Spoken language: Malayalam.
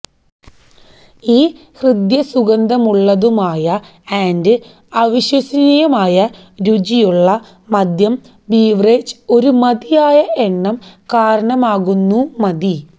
ഈ ഹൃദ്യസുഗന്ധമുള്ളതുമായ ആൻഡ് അവിശ്വസനീയമായ രുചിയുള്ള മദ്യം ബീവറേജ് ഒരു മതിയായ എണ്ണം കാരണമാകുന്നു മതി